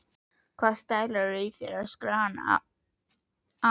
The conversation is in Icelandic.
Hvaða stælar eru í þér? öskraði hann að